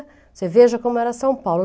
Você veja como era São Paulo.